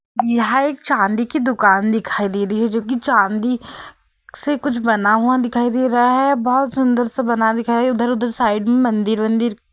यहाँ एक चांदी की दुकान दिखाई दे रही है जोकि चांदी से कुछ बना हुआ दिखाई दे रहा है। बहोत सुंदर सा बना दिखाई इधर उधर साइड मे मंदिर वंदिर --